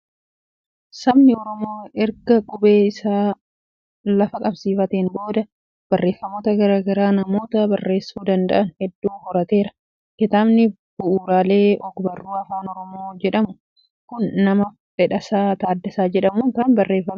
Sabni Oromoo erga qubee isaa lafa qabsiifateen booda barreeffamoota garaa garaa namoota barreessuu danda'an hedduu horateera. Kitaabni "Bu'uuraaalee Ogbarruu Afaan Oromoo" jedhamu kun nama Fedhasaa Taaddasaa jedhamuun kan barreeffame dha.